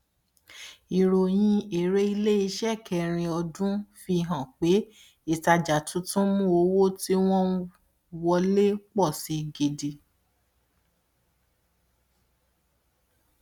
ìròyìn èrè iléiṣẹ kẹrin ọdún fi hàn pé ìtajà tuntun mú owó tí wọn ń wọlé pọ si gidi